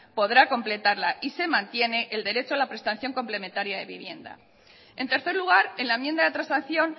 podrá completarla y se mantiene el derecho a la prestación complementaria de vivienda en tercer lugar en la enmienda de transacción